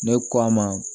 Ne k'a ma